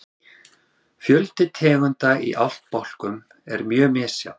fjöldi tegunda í ættbálkum er mjög misjafn